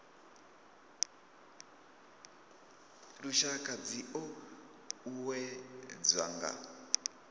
lushaka dzi o uuwedzwa nga